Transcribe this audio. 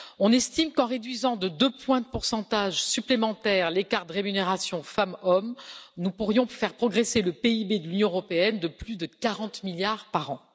On estime qu'en réduisant de deux points de pourcentage supplémentaires l'écart de rémunération femmes hommes nous pourrions faire progresser le PIB de l'Union européenne de plus de 40 milliards par an.